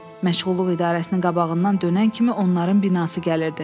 Məşğulluq idarəsinin qabağından dönən kimi onların binası gəlirdi.